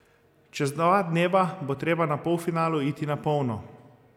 Čez dva dneva bo treba na polfinalu iti na polno.